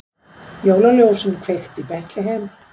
Jólaljósin kveikt í Betlehem